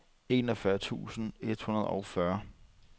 enogfyrre tusind et hundrede og fyrre